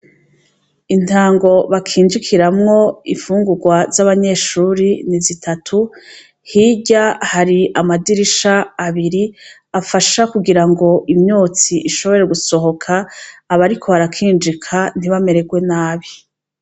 Intango bakinjikiramwo imfungurwa z'abanyeshure ni zitatu hirya hari amadirisha abiri afasha kugirango imyotsi ishobore gusohoka abariko barakinjika ntibamererwe nabi.